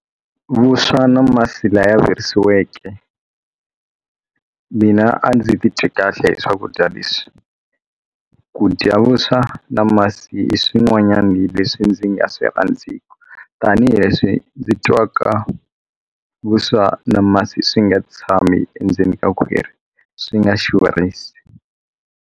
Vuswa na masi laya virisiweke mina a ndzi ti twi kahle hi swakudya leswi ku dya vuswa na masi i swin'wanyani leswi ndzi nga swi rhandziku tanihileswi ndzi twaka vuswa na masi swi nga tshami endzeni ka khwiri swi nga xurhisi.